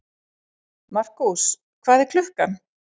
Markús, hvað er klukkan?